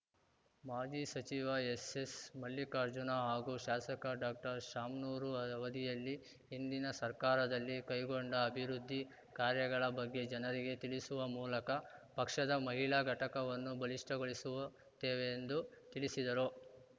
ಮಾಜಿ ಸಚಿವ ಎಸ್‌ಎಸ್‌ಮಲ್ಲಿಕಾರ್ಜುನ ಹಾಗೂ ಶಾಸಕ ಡಾಕ್ಟರ್ಶಾಮ್ನೂರು ಅವಧಿಯಲ್ಲಿ ಹಿಂದಿನ ಸರ್ಕಾರದಲ್ಲಿ ಕೈಗೊಂಡ ಅಭಿವೃದ್ಧಿ ಕಾರ್ಯಗಳ ಬಗ್ಗೆ ಜನರಿಗೆ ತಿಳಿಸುವ ಮೂಲಕ ಪಕ್ಷದ ಮಹಿಳಾ ಘಟಕವನ್ನು ಬಲಿಷ್ಟಗೊಳಿಸುತ್ತೇವೆ ಎಂದು ತಿಳಿಸಿದರು